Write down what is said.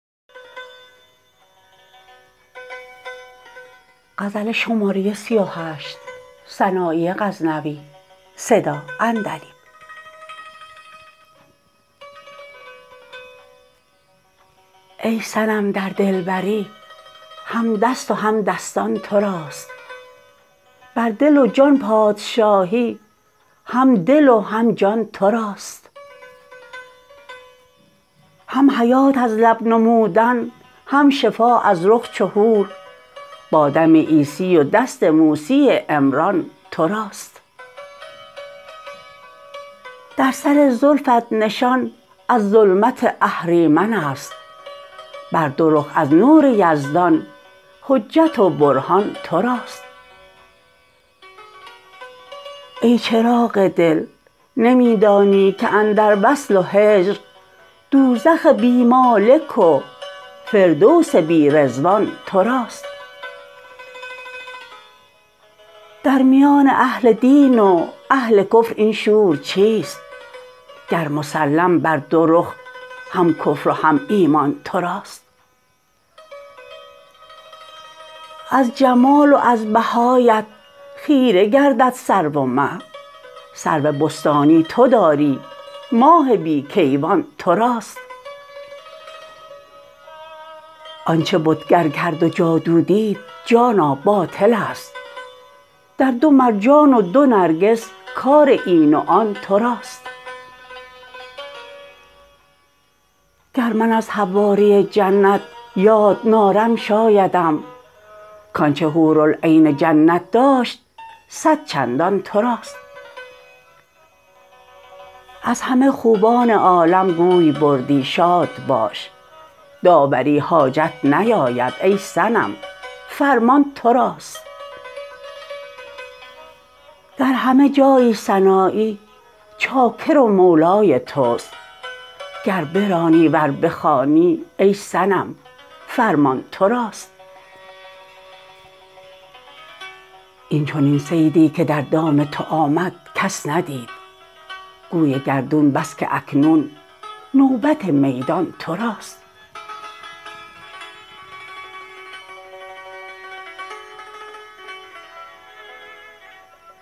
ای صنم در دلبری هم دست و هم دستان تو راست بر دل و جان پادشاهی هم دل و هم جان تو راست هم حیات از لب نمودن هم شفا از رخ چو حور با دم عیسی و دست موسی عمران تو راست در سر زلفت نشان از ظلمت اهریمن است بر دو رخ از نور یزدان حجت و برهان تو راست ای چراغ دل نمی دانی که اندر وصل و هجر دوزخ بی مالک و فردوس بی رضوان تو راست در میان اهل دین و اهل کفر این شور چیست گر مسلم بر دو رخ هم کفر و هم ایمان تو راست از جمال و از بهایت خیره گردد سرو و مه سرو بستانی تو داری ماه بی کیوان تو راست آن چه بتگر کرد و جادو دید جانا باطل است در دو مرجان و دو نرگس کار این و آن تو راست گر من از حواری جنت یاد نارم شایدم کان چه حورالعین جنت داشت صد چندان تو راست از همه خوبان عالم گوی بردی شاد باش داوری حاجت نیاید ای صنم فرمان تو راست در همه جایی سنایی چاکر و مولای توست گر برانی ور بخوانی ای صنم فرمان تو راست این چنین صیدی که در دام تو آمد کس ندید گوی گردون بس که اکنون نوبت میدان تو راست